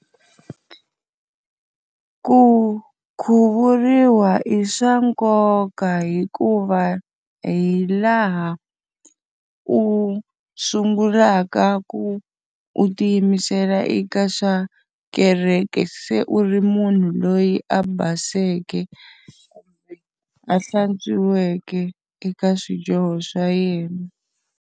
Ku khuvuriwa i swa nkoka hikuva hi laha u sungulaka ku u tiyimisela eka swa kereke se u ri munhu loyi a baseke, a hlantswiweke eka swidyoho swa yena.